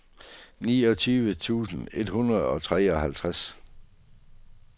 niogtyve tusind et hundrede og treoghalvtreds